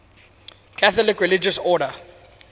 catholic religious order